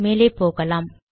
மேலே போகலாம்